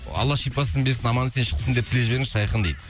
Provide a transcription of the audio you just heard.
алла шипасын берсін аман есен шықсын деп тілеп жіберіңізші айқын дейді